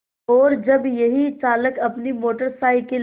और जब यही चालक अपनी मोटर साइकिल